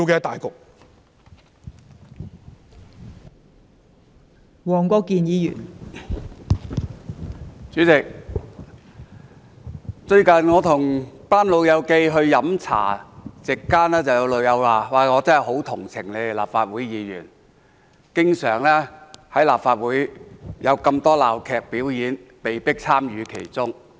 代理主席，最近我和一班老朋友飲茶，席間有人說很同情我們立法會議員，因為立法會經常上演鬧劇，我們被迫參與其中。